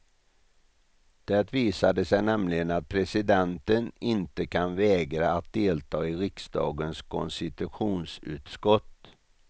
Det visade sig nämligen att presidenten inte kan vägra att delta i riksdagens konstitutionsutskott.